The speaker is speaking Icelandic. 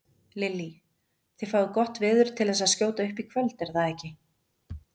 Lillý: Þið fáið gott veður til þess að skjóta upp í kvöld er það ekki?